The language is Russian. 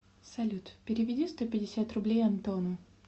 салют переведи сто пятьдесят рублей антону